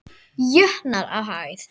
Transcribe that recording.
jötnar á hæð.